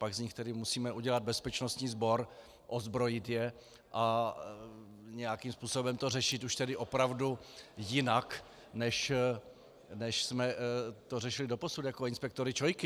Pak z nich tedy musíme udělat bezpečnostní sbor, ozbrojit je a nějakým způsobem to řešit už tedy opravdu jinak, než jsme to řešili doposud, jako inspektory ČOI.